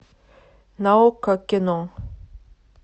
на окко кино